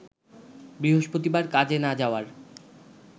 বৃহস্পতিবার কাজে না যাওয়ার